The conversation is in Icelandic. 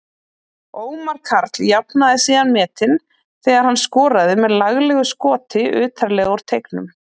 Ómar Karl jafnaði síðan metin þegar hann skoraði með laglegu skoti utarlega úr teignum.